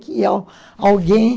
alguém